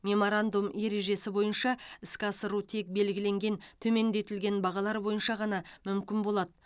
меморандум ережесі бойынша іске асыру тек белгіленген төмендетілген бағалар бойынша ғана мүмкін болады